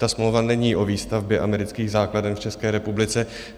Ta smlouva není o výstavbě amerických základen v České republice.